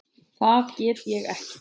Það get ég ekki